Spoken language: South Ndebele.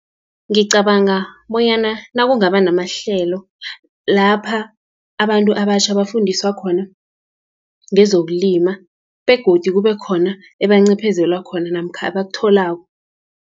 Ngicabanga bonyana nakungaba namahlelo, lapha abantu abatjha bafundiswa khona ngezokulima, begodu kube khona ebancephezelwa khona namkha abakutholako.